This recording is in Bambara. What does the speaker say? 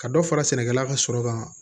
Ka dɔ fara sɛnɛkɛla ka sɔrɔ kan